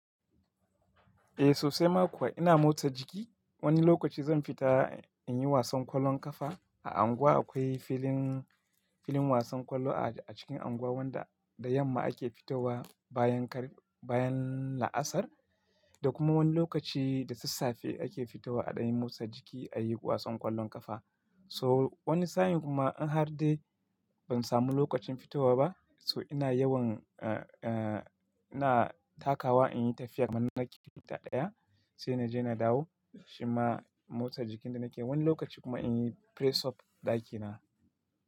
Eh sosai ma kuwa ina motsa jiki. Wani lokaci zan fita in yi wasan ƙwallon ƙafa. A unguwa akwai filin, filin wasan ƙwallo a cikin unguwa wafda da yamma ake fitowa bayan kar, bayan la'asar da kuma wani lokaci da sassafe ake fitowa a dain motsa jiki a yi wasan ƙwallon ƙafa. So wani sa'in kuma in har dai ban samu lokacin fitowa ba so ina yawan, eh, eh ina takawa in yi tafiya kaman na kilometer ɗaya sai na je na dawo. Shima motsa jikin da nake yi wani lokaci kuma in yi press up ɗakina.